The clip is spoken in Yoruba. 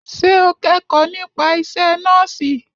Ṣé o kẹ́kọ̀ọ́ nípa isẹ́ nọ́ọ̀sì?